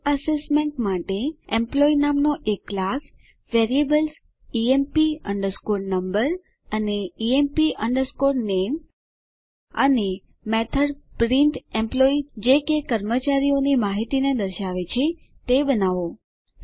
સ્વઆકારણી માટે variables EMP underscore number અને EMP underscore નામે સાથે એમ્પ્લોયી નામનો એક ક્લાસ અને મેથડ પ્રિન્ટેમ્પલોયી જે કે કર્મચારીની માહિતીને દર્શાવે તે બનાવો